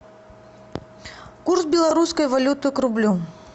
курс белорусской валюты к рублю